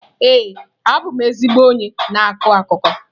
Ee, abụ m ezigbo onye na-akọ akụkọ.